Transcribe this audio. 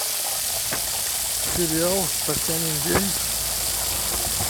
сериал татьянин день